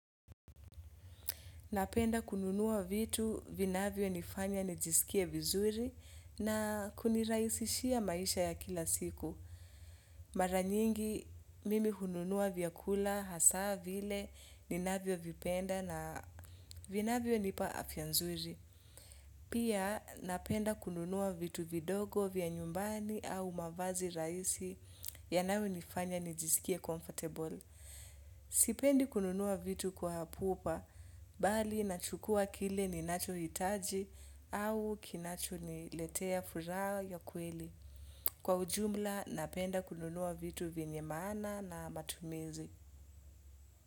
Napenda kununua vitu vinavyonifanya nijisikie vizuri na kunirahisishia maisha ya kila siku. Mara nyingi mimi hununua vyakula hasa vile ninavyovipenda na vinavyonipa afya nzuri. Pia napenda kununua vitu vidogo vya nyumbani au mavazi rahisi yanayonifanya nijisikie comfortable. Sipendi kununua vitu kwa pupa, bali nachukua kile ninachohitaji au kinachoniletea furaha ya kweli. Kwa ujumla napenda kununua vitu vyenye maana na matumizi.